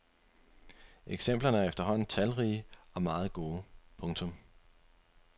Eksemplerne er efterhånden talrige og meget gode. punktum